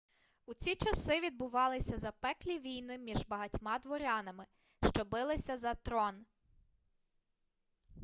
у ці часи відбувалися запеклі війни між багатьма дворянами що билися за трон